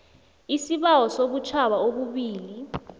isibawo sobutjhaba obubili